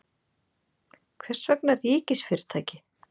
Hvers vegna ríkisfyrirtæki?